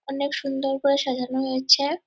অনেক সুন্দর করে সাজানো হয়েছে।